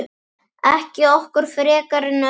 Ekki okkur frekar en öðrum.